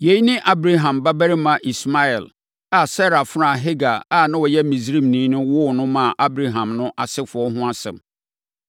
Yei ne Abraham babarima Ismael a Sara afenaa Hagar a ɔyɛ Misraimni no woo no maa Abraham no asefoɔ ho asɛm.